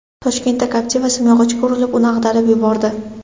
Toshkentda Captiva simyog‘ochga urilib, uni ag‘darib yubordi.